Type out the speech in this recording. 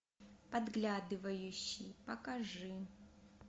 подглядывающий покажи